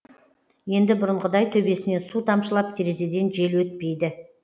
енді бұрынғыдай төбесінен су тамшылап терезеден жел өтпейді